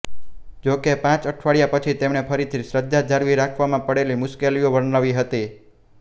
જો કે પાંચ અઠવાડિયાં પછી તેમણે ફરીથી શ્રદ્ધા જાળવી રાખવામાં પડતી મુશ્કેલીઓ વર્ણવી હતી